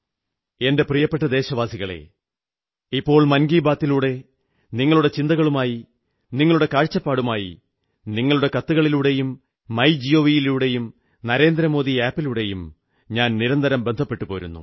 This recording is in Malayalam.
എന്റെ പ്രിയ ദേശവാസികളേ ഇപ്പോൾ മൻ കീ ബാത്ലൂടെ നിങ്ങളുടെ ചിന്തകളുമായി നിങ്ങളുടെ കാഴ്ചപ്പാടുമായി നിങ്ങളുടെ കത്തുകളിലൂടെയും മൈ ഗവ് ലൂടെയും നരേന്ദ്രമോദി ആപിലൂടെയും ഞാൻ നിരന്തരം ബന്ധപ്പെട്ടുപോരുന്നു